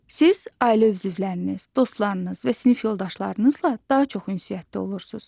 Siz ailə üzvləriniz, dostlarınız və sinif yoldaşlarınızla daha çox ünsiyyətdə olursunuz.